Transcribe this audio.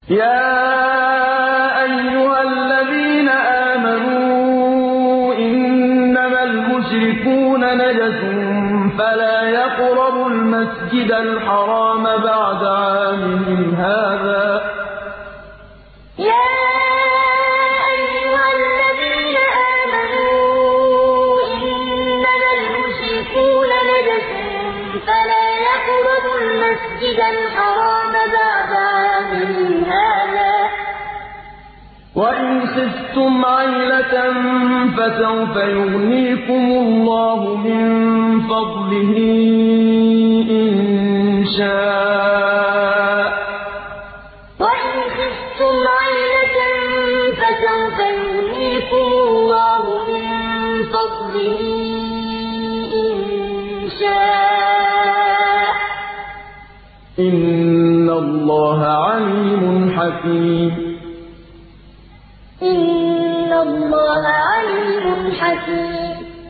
يَا أَيُّهَا الَّذِينَ آمَنُوا إِنَّمَا الْمُشْرِكُونَ نَجَسٌ فَلَا يَقْرَبُوا الْمَسْجِدَ الْحَرَامَ بَعْدَ عَامِهِمْ هَٰذَا ۚ وَإِنْ خِفْتُمْ عَيْلَةً فَسَوْفَ يُغْنِيكُمُ اللَّهُ مِن فَضْلِهِ إِن شَاءَ ۚ إِنَّ اللَّهَ عَلِيمٌ حَكِيمٌ يَا أَيُّهَا الَّذِينَ آمَنُوا إِنَّمَا الْمُشْرِكُونَ نَجَسٌ فَلَا يَقْرَبُوا الْمَسْجِدَ الْحَرَامَ بَعْدَ عَامِهِمْ هَٰذَا ۚ وَإِنْ خِفْتُمْ عَيْلَةً فَسَوْفَ يُغْنِيكُمُ اللَّهُ مِن فَضْلِهِ إِن شَاءَ ۚ إِنَّ اللَّهَ عَلِيمٌ حَكِيمٌ